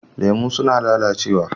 Lemu suna lalacewa.